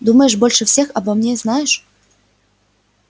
думаешь больше всех обо мне знаешь